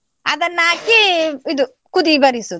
ಅದನ್ನ ಹಾಕಿ ಇದು ಕುದಿ ಬರಿಸುದು.